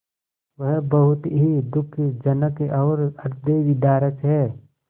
वह बहुत ही दुःखजनक और हृदयविदारक है